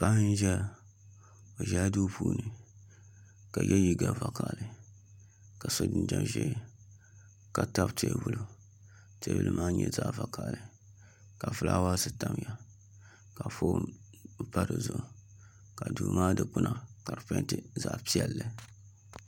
Paɣa n ʒɛya o ʒɛla duu puuni ka yɛ liiga vakaɣali ka so jinjɛm ʒiɛ ka tabi teebuli teebuli maa nyɛla zaɣ vakaɣali ka fulaawaasi tamya ka foon pa dizuɣu ka duu maa dikpuna ka di peenti zaɣ piɛlli